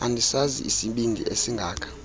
andisazi isibindi esingaka